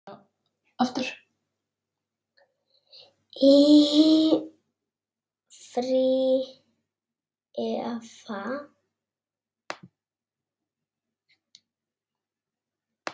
Í frí. eða?